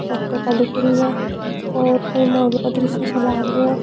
चॉकलेटा दिख रही है और दृश्य सो लाग रियो है।